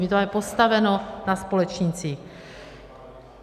My to máme postaveno na společnících.